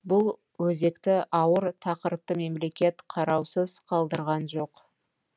бұл өзекті ауыр тақырыпты мемлекет қараусыз қалдырған жоқ